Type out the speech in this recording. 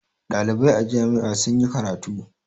Ɗalibai a jami'a sun yi karatu.